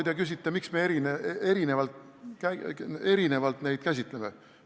Aga te küsite, miks me neid lapsi erinevalt käsitleme.